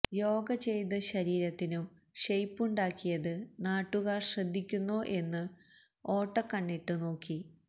യോഗ ചെയ്ത് ശരീരത്തിനു ഷെയ്പ്പുണ്ടക്കിയത് നാട്ടുകാര് ശ്രദ്ധിക്കുന്നോ എന്നു ഓട്ട കണ്ണിട്ട് നോക്കി